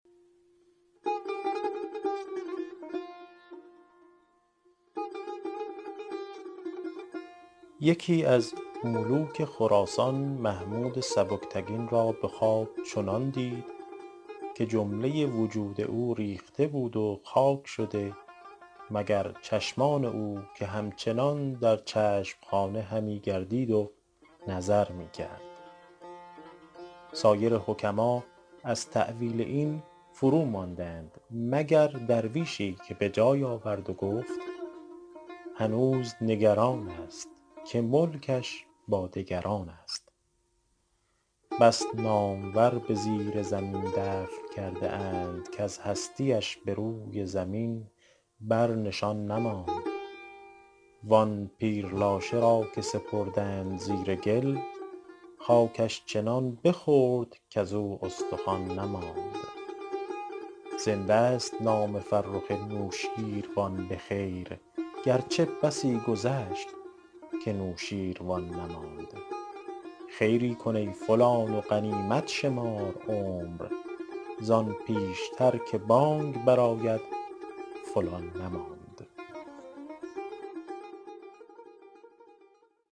یکی از ملوک خراسان محمود سبکتگین را به خواب چنان دید که جمله وجود او ریخته بود و خاک شده مگر چشمان او که همچنان در چشم خانه همی گردید و نظر می کرد سایر حکما از تأویل این فروماندند مگر درویشی که به جای آورد و گفت هنوز نگران است که ملکش با دگران است بس نامور به زیر زمین دفن کرده اند کز هستی اش به روی زمین بر نشان نماند وآن پیر لاشه را که سپردند زیر گل خاکش چنان بخورد کزو استخوان نماند زنده ست نام فرخ نوشین روان به خیر گرچه بسی گذشت که نوشین روان نماند خیری کن ای فلان و غنیمت شمار عمر زآن پیشتر که بانگ بر آید فلان نماند